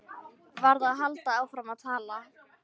Verð að halda áfram að tala.